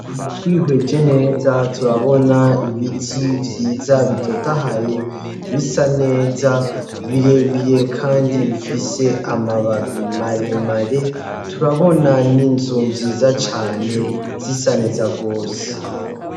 Twihweje neza turabona ibiti vyiza bitotahaye, bisa neza birebire kandi bifise amababi maremare, turabona n'inzu nziza cane, zisa neza gose.